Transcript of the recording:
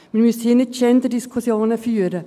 Wir müssen hier nicht Genderdiskussionen führen.